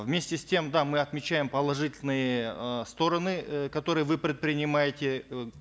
вместе с тем да мы отмечаем положительные э стороны э которые вы предпринимаете э